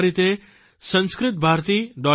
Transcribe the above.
આ રીતે sanskritbharati